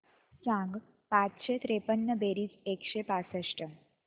सांग पाचशे त्रेपन्न बेरीज एकशे पासष्ट